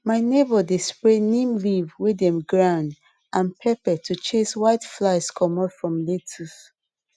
my neighbour dey spray neem leaf wey dem ground and pepper to chase whiteflies comot from lettuce